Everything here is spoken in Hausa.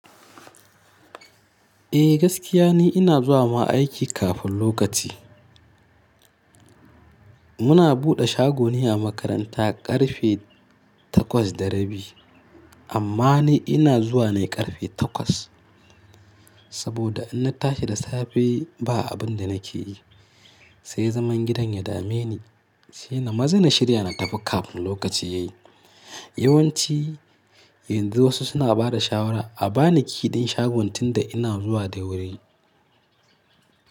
Eh gaskiya ne ina zuwa ma aiki kafin lokaci. Muna buɗe shagoni a makaranta ƙarfe takwas da rabi amma ni ina zuwa na ƙarfe takwas. Saboda in na tashi da safe ba abin da na ke yi, sai zaman gidan ya dame ni, sai na maza na shirya na tafi kafin lokaci yayi. Yawanci yanzu wasu suna ba da shawara a ba ni key din shagon tinda ina zuwa da wuri.